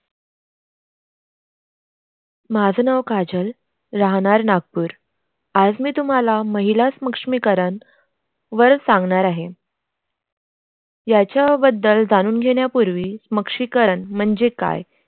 माझे नाव काजल राहणार नागपूर आज मी तुम्हाला महिला समक्षमीकरण वर सांगणार आहे यांचा बद्दल जाणून घेणार पूर्वी समक्षमीकरण म्णजे क्या